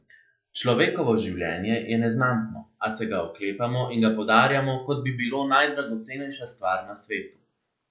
Človekovo življenje je neznatno, a se ga oklepamo in ga podarjamo, kot bi bilo najdragocenejša stvar na svetu.